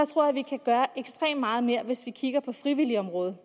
tror vi kan gøre ekstremt meget mere hvis vi kigger på frivilligeområdet